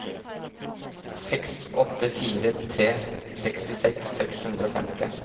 seks åtte fire tre sekstiseks seks hundre og femti